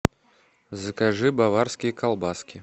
закажи баварские колбаски